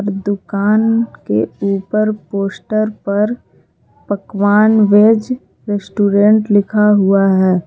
दुकान के ऊपर पोस्टर पर पकवान वेज रेस्टोरेंट लिखा हुआ है।